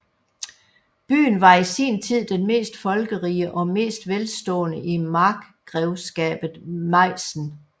Byen var i sin tid den mest folkerige og mest velstående i markgrevskabet Meissen